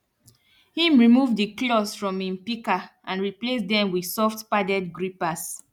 him remove di claws from him pika and replace dem with soft padded grippers